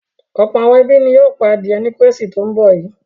Ọ̀pọ̀ àwọn ẹbí ni yóò pa adìẹ ní Kérésìmesì tó ń bọ̀ yìí.